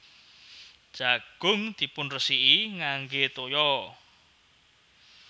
Jagung dipunresiki ngangge toya